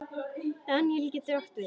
Daníel getur átt við